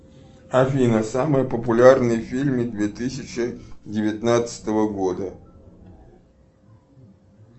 афина самые популярные фильмы две тысячи девятнадцатого года